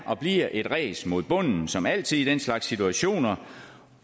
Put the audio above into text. og bliver et ræs mod bunden som altid i den slags situationer